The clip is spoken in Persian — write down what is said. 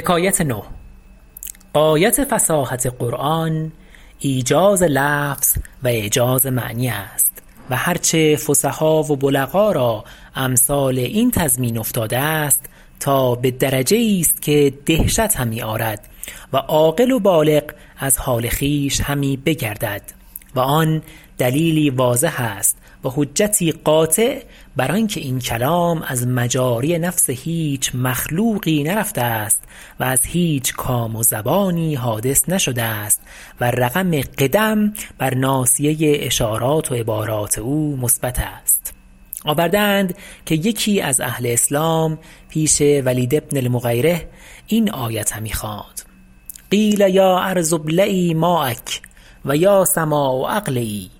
غایت فصاحت قرآن ایجاز لفظ و اعجاز معنی است و هر چه فصحا و بلغا را امثال این تضمین افتاده است تا به درجه ایست که دهشت همی آرد و عاقل و بالغ از حال خویش همی بگردد و آن دلیلی واضح است و حجتی قاطع بر آن که این کلام از مجاری نفس هیچ مخلوقی نرفته است و از هیچ کام و زبانی حادث نشده است و رقم قدم بر ناصیه اشارات و عبارات او مثبت است آورده اند که یکی از اهل اسلام پیش ولید بین المغیرة این آیت همی خواند قیل یا ارض ابلعی ماءک و یا سماء اقلعی